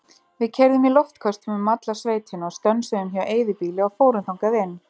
Við keyrðum í loftköstum um alla sveitina og stönsuðum hjá eyðibýli og fórum þangað inn.